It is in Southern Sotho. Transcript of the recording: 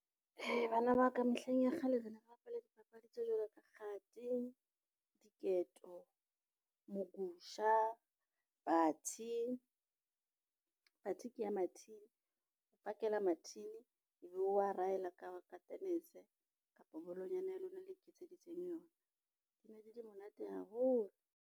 Bana ba ka mehleng ya kgale re ne re bapala dipapadi tse jwalo ka kgati, diketo, mokusha, bathi, bathi ke ya mathini o pakela mathini ebe o wa rahela ka tennis kapa bolong nyana ya lona e le iketseditseng yona di ne di le monate haholo.